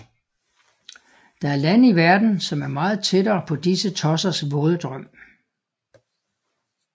Der er lande i verden som er meget tættere på disse tossers våde drøm